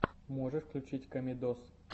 можешь включить комедоз